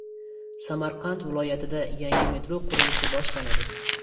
Samarqand viloyatida yengil metro qurilishi boshlanadi.